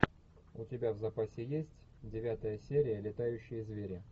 у тебя в запасе есть девятая серия летающие звери